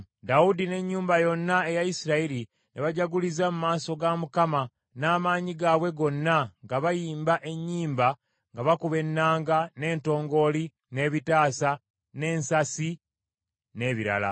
Dawudi n’ennyumba yonna eya Isirayiri ne bajaguliza mu maaso ga Mukama n’amaanyi gaabwe gonna, nga bayimba ennyimba nga bakuba ennanga, n’entongooli, n’ebitaasa, n’ensaasi, n’ebirala.